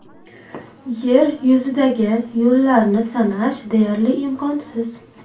Yer yuzidagi yo‘llarni sanash deyarli imkonsiz.